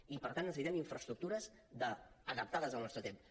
i per tant necessitem infraestructures adaptades al nostre temps